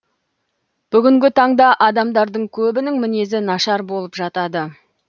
бүгінгі таңда адамдардың көбінің мінезі нашар болып жатады